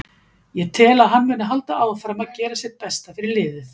Ég tel að hann muni halda áfram að gera sitt besta fyrir liðið.